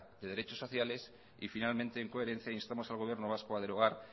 de derechos sociales y finalmente en coherencia instamos al gobierno vasco a derogar